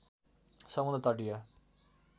समुद्र तटीय